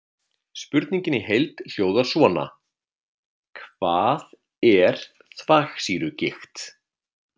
Spurningin í heild hljóðar svona: Hvað er þvagsýrugigt?